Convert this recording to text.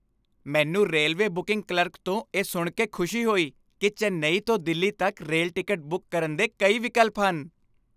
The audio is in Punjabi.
ਮੈਨੂੰ ਰੇਲਵੇ ਬੁਕਿੰਗ ਕਲਰਕ ਤੋਂ ਇਹ ਸੁਣ ਕੇ ਖੁਸ਼ੀ ਹੋਈ ਕਿ ਚੇਨਈ ਤੋਂ ਦਿੱਲੀ ਤੱਕ ਰੇਲ ਟਿਕਟ ਬੁੱਕ ਕਰਨ ਦੇ ਕਈ ਵਿਕਲਪ ਹਨ।